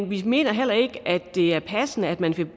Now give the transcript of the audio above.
vi mener heller ikke det er passende at man